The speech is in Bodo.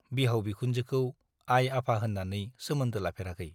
बिहाव बिखुनजोखौ आफा आइ होन्नानै सोमोन्दो लाफेराखै ।